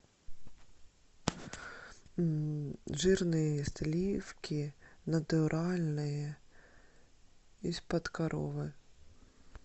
жирные сливки натуральные из под коровы